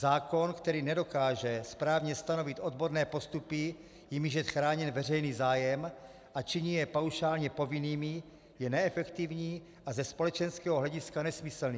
Zákon, který nedokáže správně stanovit odborné postupy, jimiž je chráněn veřejný zájem, a činí je paušálně povinnými, je neefektivní a ze společenského hlediska nesmyslný.